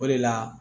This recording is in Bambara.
O de la